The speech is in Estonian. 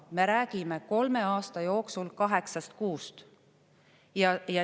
Me räägime kolme aasta jooksul kaheksast kuust.